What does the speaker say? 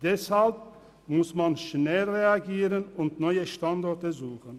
Deshalb muss man schnell reagieren und neue Standorte suchen.